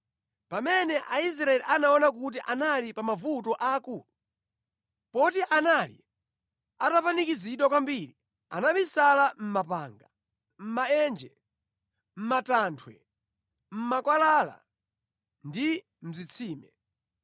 Pamene Aisraeli anaona kuti anali pamavuto akulu, poti anali atapanikizidwa kwambiri, anabisala mʼmapanga, mʼmaenje, mʼmatanthwe, mʼmakwalala ndi mʼzitsime.